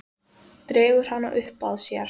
Dregur hana upp að sér.